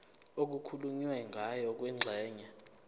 okukhulunywe ngayo kwingxenye